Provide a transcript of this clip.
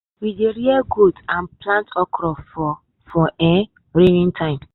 We dey rear goat and plant okra for for um rainin time